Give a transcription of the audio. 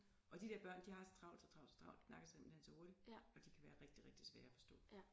Og de der børn de har så travlt så travlt så travlt de snakker simpelthen så hurtigt og de kan være rigtig rigtig svære at forstå